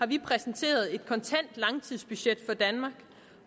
vi præsenteret et kontant langtidsbudget